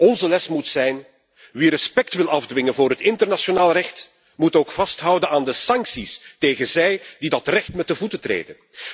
Onze les moet zijn wie respect wil afdwingen voor het internationaal recht moet ook vasthouden aan de sancties tegen hen die dat recht met de voeten treden.